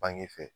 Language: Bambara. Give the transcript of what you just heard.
Bange fɛ